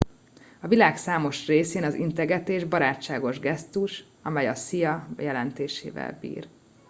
"a világ számos részén az integetés barátságos gesztus amely a "szia" jelentésével bír.